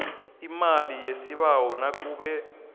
imali yesibawo nakube